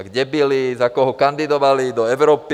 A kde byli, za koho kandidovali do Evropy.